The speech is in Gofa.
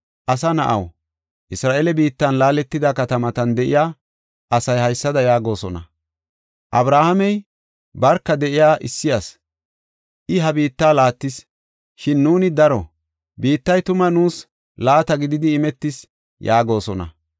“Asa na7aw, Isra7eele biittan laaletida katamatan de7iya asay haysada yaagosona: ‘Abrahaamey barka de7iya issi asi; I ha biitta laattis; shin nuuni daro; biittay tuma nuus laata gididi imetis’ ” yaagosona.